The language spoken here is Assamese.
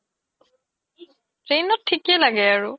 train ত থিকে লাগে আৰু